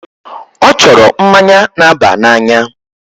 Ọ chọrọ mmanya na-aba n'anya.